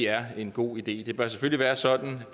er en god idé det bør selvfølgelig være sådan